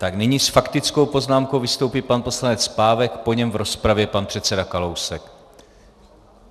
Tak nyní s faktickou poznámkou vystoupí pan poslanec Pávek, po něm v rozpravě pan předseda Kalousek.